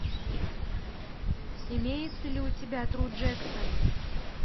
имеется ли у тебя тру джексон